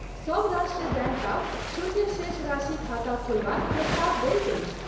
सब राष्ट्रीय बैङ्क आब शून्य शेषराशि खाता खोलबाक प्रस्ताव दैत अछि।